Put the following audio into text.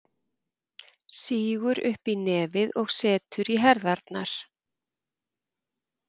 Sýgur upp í nefið og setur í herðarnar.